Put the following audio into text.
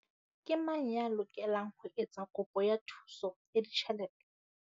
Ke mang ya lokelang ho etsa kopo ya thuso ya ditjhelete?